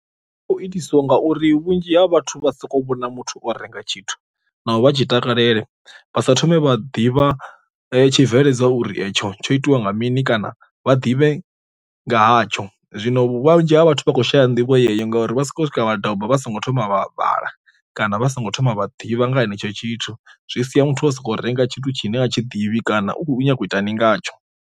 Itisiwa nga uri vhunzhi ha vhathu vha soko vhona muthu o renga tshithu na u vha tshi takalela vha sa thome vha ḓivha tshibveledzwa uri etsho tsho itiwa nga mini kana vha ḓivhe nga hatsho, zwino vhunzhi ha vhathu vha khou shaya nḓivho yeyo ngauri vha si khou swika vha doba vha songo thoma vha vhala kana vha songo thoma vha ḓivha nga henetsho tshithu, zwi sia muthu wa soko renga tshithu tshine nga tshi ḓivhi kana u khou nyanga u itani ngatsho.